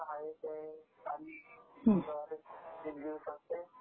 *Audio not clear